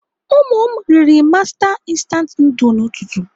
Ụmụ m riri master instant nudul n'ụtụtụ.